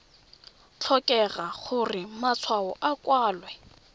tlhokege gore matshwao a kwalwe